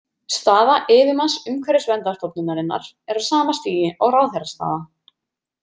Staða yfirmanns Umhverfisverndarstofnunarinnar er á sama stigi og ráðherrastaða.